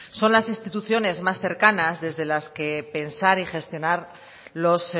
son las instituciones más cercanas desde las que pensar y gestionar los